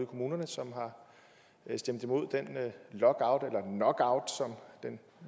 kommunerne som har stemt imod den lockout eller knockout som den